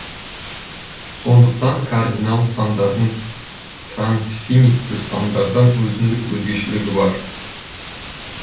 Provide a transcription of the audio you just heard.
сондықтан кардинал сандардың трансфинитті сандардан өзіндік өзгешелігі бар